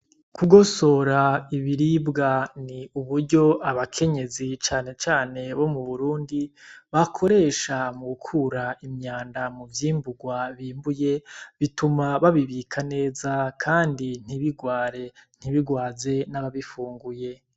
Kugosora ibiribwa ni uburyo abakenyezi canecane bo mu burundi bakoresha mu ukura imyanda mu vyimburwa bimbuye bituma babibika neza, kandi ntibirware ntibirwaze n'ababifunguye.